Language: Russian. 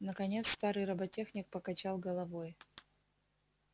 наконец старый роботехник покачал головой